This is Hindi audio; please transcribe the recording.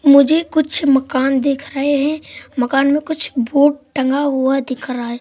मुझे कुछ मकान दिख रहे हैं मकान में कुछ बोर्ड टांगा दिख रहा है।